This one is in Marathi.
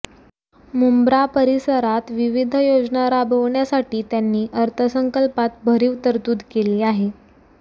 मुंब्रा परिसरात विविध योजना राबविण्यासाठी त्यांनी अर्थसंकल्पात भरीव तरतूद केली आहे